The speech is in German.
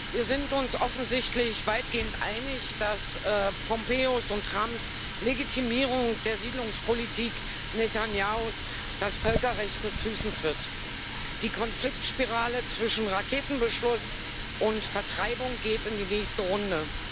Wir sind uns offensichtlich weitgehend einig, dass Pompeos und Trumps Legitimierung der Siedlungspolitik Netanjahus das Völkerrecht mit Füßen tritt. Die Konfliktspirale zwischen Raketenbeschuss und Vertreibung geht in die nächste Runde.